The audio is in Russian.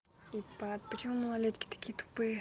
тупая почему малолетки такие тупые